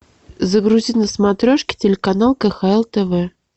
загрузи на смотрешке телеканал кхл тв